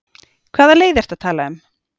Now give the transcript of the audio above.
Hvaða leið ertu að tala um?